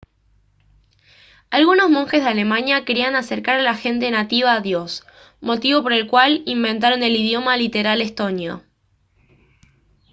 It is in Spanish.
algunos monjes de alemania querían acercar a la gente nativa a dios motivo por el cual inventaron el idioma literal estonio